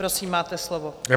Prosím, máte slovo.